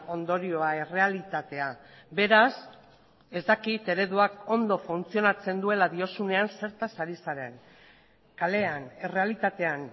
ondorioa errealitatea beraz ez dakit ereduak ondo funtzionatzen duela diozunean zertaz ari zaren kalean errealitatean